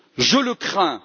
Je le crains.